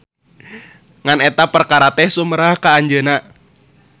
Ngan eta perkara teh sumerah ka anjeun.